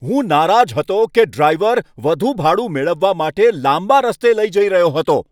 હું નારાજ હતો કે ડ્રાઈવર વધુ ભાડું મેળવવા માટે લાંબા રસ્તે લઈ જઈ રહ્યો હતો.